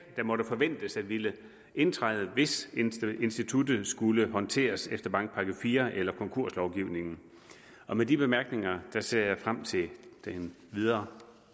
der måtte forventes at ville indtræde hvis instituttet skulle håndteres efter bankpakke iv eller konkurslovgivningen med de bemærkninger ser jeg frem til den videre